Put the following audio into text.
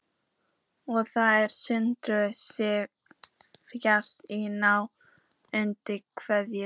Og þær sugu sig fastar í nára og undir kverk.